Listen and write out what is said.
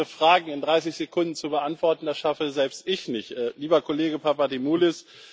Aber so viele Fragen in 30 Sekunden zu beantworten, das schaffe selbst ich nicht, lieber Kollege Papadimoulis.